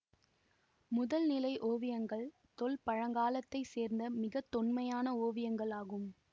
முதல் நிலை ஓவியங்கள் தொல்பழங்காலத்தைச் சேர்ந்த மிக தொன்மையான ஓவியங்களாகும்